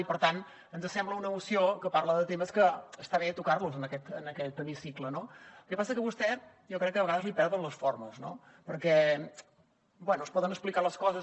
i per tant ens sembla una moció que parla de temes que està bé tocar los en aquest hemicicle no el que passa és que a vostè jo crec que de vegades li perden les formes perquè bé es poden explicar les coses